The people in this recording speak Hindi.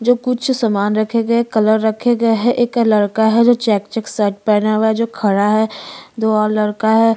जो कुछ सामान रखे गए है कलर रखे गए है एक लड़का है जो चेक - चेक शर्ट पहने हुए है जो खड़ा है दो और लड़का है।